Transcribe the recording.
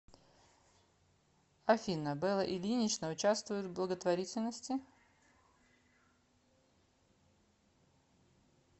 афина белла ильинична учавствует в благотворительности